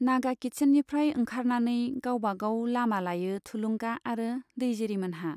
नागा किट्चेननिफ्राय ओंखारनानै गावबा गाव लामा लायो थुलुंगा आरो दैजिरिमोनहा।